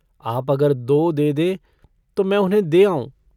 आप अगर दो दे दें तो मैं उन्हें दे आऊँ।